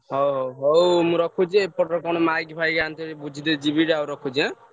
ହଉ ହଉ ହଉ ମୁଁ ରଖୁଛି ଏପଟ ରେ କଣ mic ଫାଇକ ଆଣିଛନ୍ତି ରଖୁଛି ହଁ।